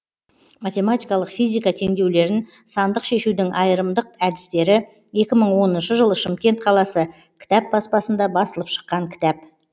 математикалық физика теңдеулерін сандық шешудің айырымдық әдістері екі мың оныншы жылы шымкент қаласы кітап баспасында басылып шыққан кітап